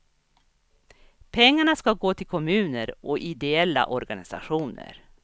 Pengarna ska gå till kommuner och ideella organisationer.